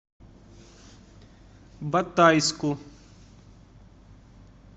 батайску